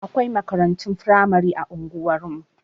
Akwai makarantun firamari a unguwar mu.